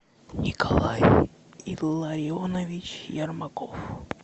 николай илларионович ермаков